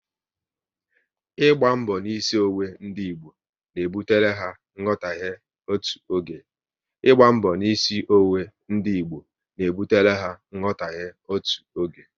Ịgba mbọ n'isi onwe ndị Igbo na ebutere ha nghọtaghe otu oge